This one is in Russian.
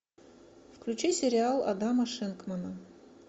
включи сериал адама шенкмана